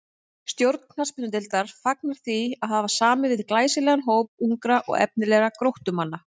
Stjórn knattspyrnudeildar fagnar því að hafa samið við glæsilegan hóp ungra og efnilegra Gróttumanna.